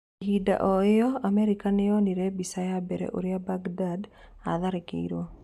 Ihinda o ĩyo, Amerika nĩ yonanirie mbica ya mbere ũrĩa Mbagindad atharĩkĩirwo.